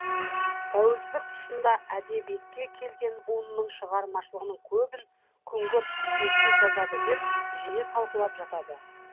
тәуелсіздік тұсында әдебиетке келген буынның шығармашылығының көбін күңгірт түсініксіз жазады деп жиі талқылап жатады